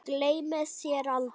Gleymi þér aldrei.